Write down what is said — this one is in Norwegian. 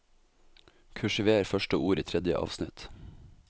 Kursiver første ord i tredje avsnitt